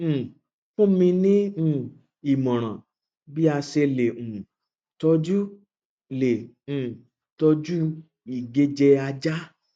um fún mi ní um ìmòràn bí a ṣe le um tọjú le um tọjú ìgéjẹ ajá